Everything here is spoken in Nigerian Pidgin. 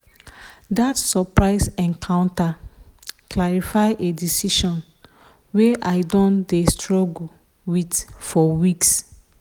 that surprise encounter clarify a decision wey i don dey struggle with for weeks.